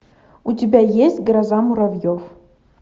у тебя есть гроза муравьев